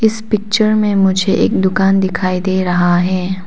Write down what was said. इस पिक्चर में मुझे एक दुकान दिखाई दे रहा है।